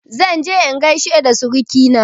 Zan je in gaishe da surukaina